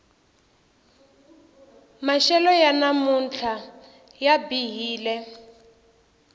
maxelo ya namuntlha ya bihile